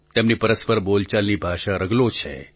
તેમની પરસ્પર બોલચાલની ભાષા રગલો છે